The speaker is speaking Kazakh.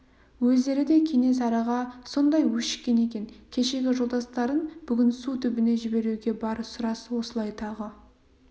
өздері де кенесарыға сондай өшіккен екен кешегі жолдастарын бүгін су түбіне жіберуге бар сұрас осылай тағы